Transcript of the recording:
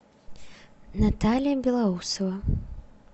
наталья белоусова